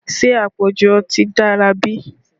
Ṣé àpọ̀jù ọtí dára bí?